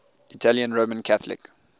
italian roman catholic